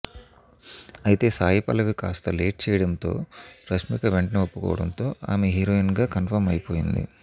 అయితే సాయి పల్లవి కాస్తా లేట్ చేయడంతో రష్మిక వెంటనే ఒప్పుకోవడంతో ఆమె హీరోయిన్ గా కన్ఫర్మ్ అయ్యిపోయింది